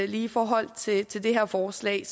lige i forhold til til det her forslag